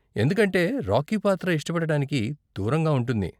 ఎందుకంటే రాకీ పాత్ర ఇష్టపడటానికి దూరంగా ఉంటుంది.